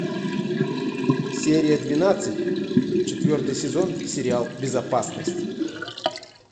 серия двенадцать четвертый сезон сериал безопасность